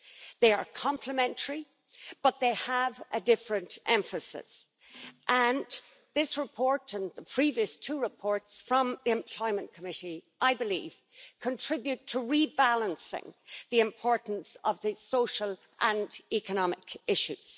They are complementary, but they have a different emphasis, and this report, as well as the previous two reports from the Employment Committee, I believe contribute to rebalancing the importance of the social and economic issues.